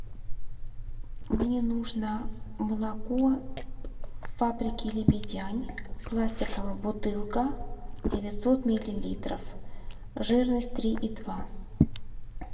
мне нужно молоко фабрики лебедянь пластиковая бутылка девятьсот миллилитров жирность три и два